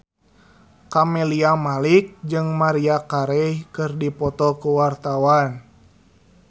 Camelia Malik jeung Maria Carey keur dipoto ku wartawan